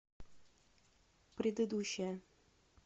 предыдущая